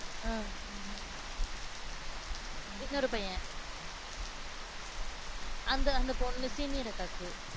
அஹ் இன்னொரு பையன் அந்த அந்த பொண்ணு, senior அக்காக்கு